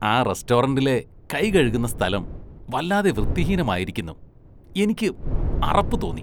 ആ റസ്‌റ്റോറന്റിലെ കൈകഴുകുന്ന സ്ഥലം വല്ലാതെ വൃത്തിഹീനമായിരിക്കുന്നു, എനിക്ക് അറപ്പ് തോന്നി.